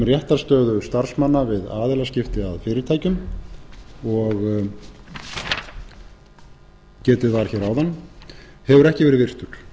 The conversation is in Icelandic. réttarstöðu starfsmanna við aðilaskipti að fyrirtækjum og getið var hér áðan hefur ekki verið virtur þetta er